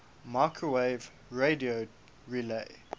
microwave radio relay